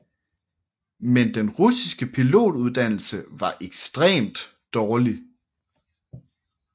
Men den russiske pilotuddannelse var ekstremt dårlig